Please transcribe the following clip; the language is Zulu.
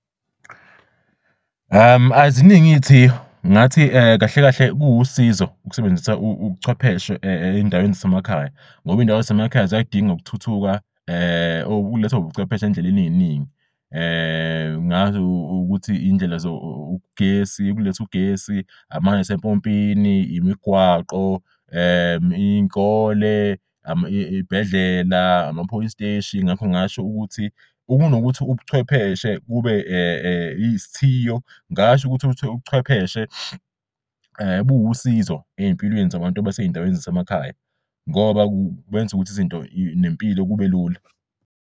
Aziningi ithiyo ngathi kahle kuwusizo ukusebenzisa ubuchwepheshe ey'ndaweni zasemakhaya, ngoba iy'ndawo zasemakhaya ziyadinga ukuthuthuka okulethwa ubuchwepheshe endleleni ey'ningi ukuthi iy'ndlela zogesi ukuleth'ugesi, amanzase'mpompini, imigwaqo iy'kole, iy'bhedlela, ama-police steshi ngakho ngingasho ukuthi ukunokuthi ubuchwepheshe kube izithiyo ngasho ukuthi ubuchwepheshe buwusizo ey'mpilweni zabantu basey'ndaweni zasemakhaya ngoba kwenza ukuthi izinto nempilo kubelula.